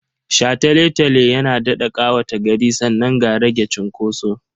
Shataletale yana daɗa ƙawata gari sannan ga rage cunkoso.